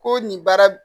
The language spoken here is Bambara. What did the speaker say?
Ko nin baara